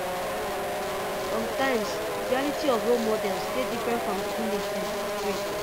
sometimes di reality of role models dey different from di image dem portray